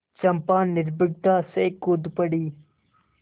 चंपा निर्भीकता से कूद पड़ी